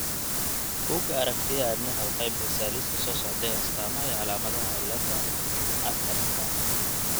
Bugga Aragtiyaha Aadanaha waxay bixisaa liiska soo socda ee astaamaha iyo calaamadaha cillada Achardka.